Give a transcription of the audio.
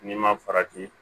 N'i ma farati